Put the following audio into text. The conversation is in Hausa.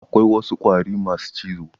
Akwai wasu ƙwari masu cizo.